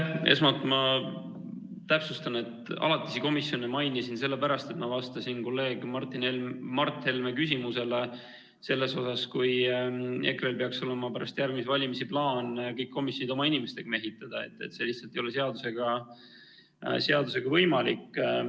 Esmalt ma täpsustan: alatisi komisjone mainisin sellepärast, et ma vastasin kolleeg Mart Helme küsimusele selle kohta, et kui EKRE‑l peaks olema pärast järgmisi valimisi plaan kõik komisjonid oma inimestega mehitada, siis see lihtsalt ei ole seadusega võimalik.